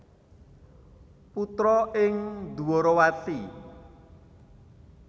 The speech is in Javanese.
Putra ing Dwarawati